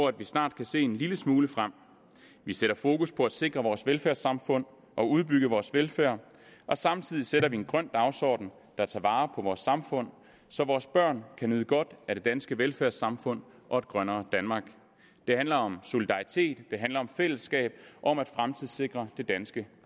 at vi snart kan se en lille smule frem vi sætter fokus på at sikre vores velfærdssamfund og udbygge vores velfærd og samtidig sætter vi en grøn dagsorden der tager vare på vores samfund så vores børn kan nyde godt af det danske velfærdssamfund og et grønnere danmark det handler om solidaritet det handler om fællesskab og om at fremtidssikre det danske